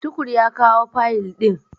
Tukur ya kawo fayil ɗin.